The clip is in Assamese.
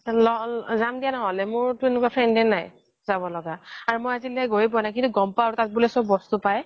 যাম দিয়া ন্হ্'লে মোৰতো এনেকুৱা friend য়ে নাই যাব লগা মই আজিলই গৈয়ে পুৱা নাই কিন্তু গ্'ম পাও আৰু তাত বুলে চ্'ব বস্তু পাই